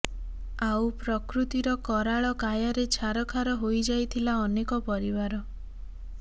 ଆଉ ପ୍ରକୃତିର କରାଳ କାୟାରେ ଛାରଖାର ହୋଇଯାଇଥିଲା ଅନେକ ପରିବାର